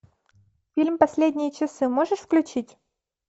фильм последние часы можешь включить